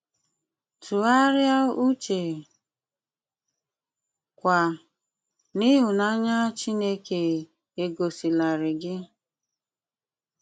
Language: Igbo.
Túgháríá úchè, kwá, n'íhúnànyá Chínéké égosílárí gí.